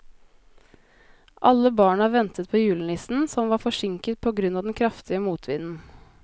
Alle barna ventet på julenissen, som var forsinket på grunn av den kraftige motvinden.